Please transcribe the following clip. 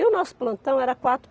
E o nosso plantão era quatro.